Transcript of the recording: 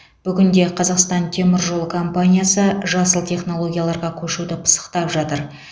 бүгінде қазақстан темір жолы компаниясы жасыл технологияларға көшуді пысықтап жатыр